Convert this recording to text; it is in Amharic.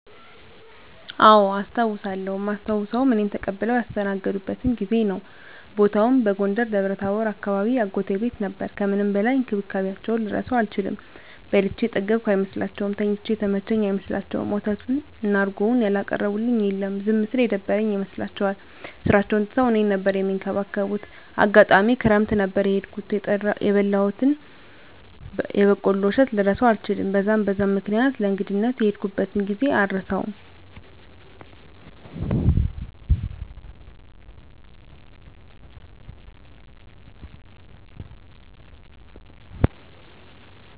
አዎ አስታዉሳለው እማስታዉሰዉም እኔን ተቀብለዉ ያስተናገዱበትን ጊዜ ነዉ። ቦታዉም በጎንደር ደብረታቦር አካባቢ አጎቴ ቤት ነበር ከምንም በላይ እንክብካቤያቸዉን ልረሳዉ አልችልም። በልቼ የጠገብኩ አይመስላቸዉም፣ ተኝቼ የተመቸኝ አይመስላቸዉም፣ ወተቱን እና እረጎዉን ያላቀረቡልኝ የለም። ዝም ስል የደበረኝ ይመስላቸዋል ስራቸዉን ትተዉ እኔን ነበር እሚንከባከቡት፣ አጋጣሚ ክረምት ነበር የሄድኩት የበላሁትን የበቆሎ እሸት ልረሳዉ አልችልም። በዛን በዛን ምክኒያት ለእንግድነት የሄድኩበትን ጊዜ አረሳዉም።